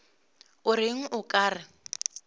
o reng o ka re